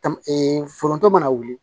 Ta m foronto mana wuli